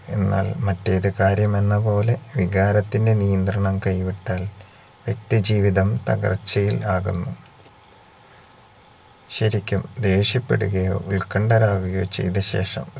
എന്നാൽ മറ്റേതുകാര്യമെന്നപോലെ വികാരത്തിന്റെ നിയന്ത്രണം കൈവിട്ടാൽ നിത്യജീവിതം തകർച്ചയിൽ ആകുന്നു ശരിക്കും ദേഷ്യപ്പെടുകയോ ഉൽക്കണ്ഠരാകുകയോ ചെയ്തശേഷം